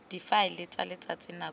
difaele tsa letsatsi nako le